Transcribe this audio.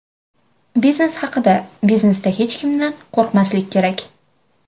Biznes haqida: Biznesda hech kimdan qo‘rqmaslik kerak.